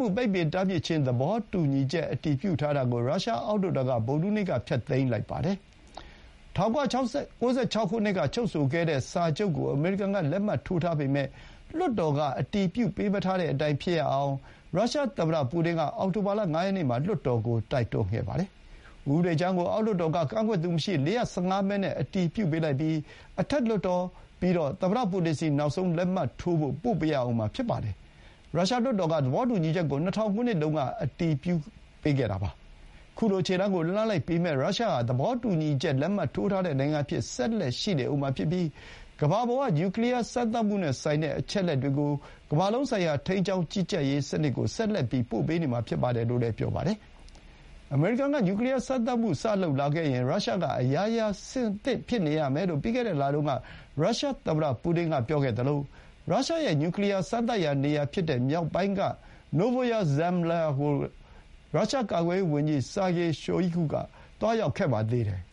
ှု ပိတ်ပင်တားမြစ်ခြင်းသဘောတူညီချက် အတည်ပြုထားတာကို ရုရှားအောက်လွှတ်တော်က ဗုဒ္ဓဟူးနေ့က ဖျက်သိမ်းလိုက်ပါတယ်။ ၁၉၉၆ ခုနှစ်က ချုပ်ဆိုခဲ့တဲ့စာချုပ်ကို အမေရိကန်က လက်မှတ်ထိုးထားပေမဲ့ လွှတ်တော် က အတည်ပြုပေးမထားတဲ့အတိုင်းဖြစ်ရအောင် ရုရှားသမ္မတပူတင်က အောက်တိုဘာလ ၅ ရက်နေ့မှာ လွှတ်တော်ကို တိုက်တွန်းခဲ့တာပါ။ ဥပဒေကြမ်းကို အောက်လွှတ်တော်က ကန့်ကွက်သူမရှိ ၄၁၅ မဲနဲ့ အတည်ပြုပေးလိုက်ပြီး အထက်လွှတ်တော် ပြီးတော့ သမ္မတပူတင်ဆီ နောက်ဆုံးလက်မှတ်ထိုးဖို့ ပို့ပေးရဦးမှာ ဖြစ်ပါတယ်။ ရုရှားလွှတ်တော်က သဘောတူညီချက်ကို ၂၀၀၀ ခုနှစ်တုန်းက အတည်ပြုပေးခဲ့တာပါ။ ခုလို ခြေလှမ်းကိုလှမ်းလိုက်ပေမဲ့ ရုရှားဟာ သဘောတူညီချက် လက်မှတ်ထိုးထားတဲ့ နိုင်ငံအဖြစ် ဆက်လက်ရှိနေမှာဖြစ်ပြီး ကမ္ဘာပေါ် က နျူကလီယာစမ်းသပ်မှုနဲ့ဆိုင်တဲ့ အချက်အလက်တွေကို ကမ္ဘာလုံးဆိုင်ရာ ထိန်းကျောင်းကြီးကြပ်ရေးစနစ်ကို ဆက်လက်ပို့ပေးနေမှာဖြစ်တယ်လို့ ပြောပါတယ်။ အမေရိကန်က နျူကလီယာ စမ်းသပ်မှုစလုပ်လာခဲ့ရင် ရုရှားက အရာရာအဆင်သင့်ဖြစ်နေရမယ်လို့ ပြီးခဲ့တဲ့လတုန်း က ရုရှားသမ္မတပူတင်ကပြောခဲ့သလို ရုရှားရဲ့ နျူကလီယာစမ်းသပ်ရာနေရာဖြစ်တဲ့ မြောက်ပိုင်းက နိုဗိုယာ ဇမ်လျာ (Novaya Zemlya) ကို ရုရှားကာကွယ်ရေးဝန်ကြီး Sergei Shoigu က သွားရောက်ခဲ့ပါသေးတယ်။